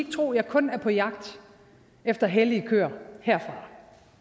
tro jeg kun er på jagt efter hellige køer herfra